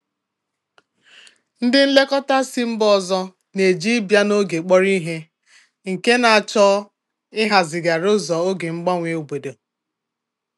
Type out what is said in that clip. Ndị nlekọta si mba ọzọ na-eji ịbịa n'oge kpọrọ ihe, nke na-achọ ịhazigharị ụzọ oge mgbanwe obodo.